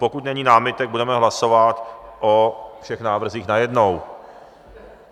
Pokud není námitek, budeme hlasovat o všech návrzích najednou.